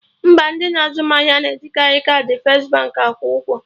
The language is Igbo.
Mba, ndị na-azụ m ahịa na ejikari kaadị first Baankị akwụ ụgwọ